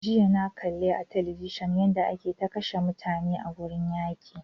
Jiya na kalli a television yanda ake ta kashe mutane a gurin yaƙi